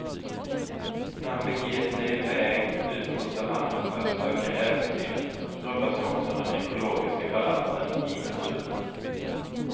När han beger sig i väg ut på savannen för att söka äventyret rubbas också den ekologiska balansen i naturen.